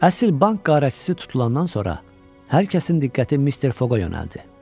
Əsl bank quldurəsi tutulandan sonra hər kəsin diqqəti Mr. Foqa yönəldi.